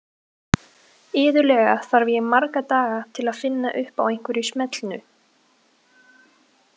Iðulega þarf ég marga daga til að finna upp á einhverju smellnu.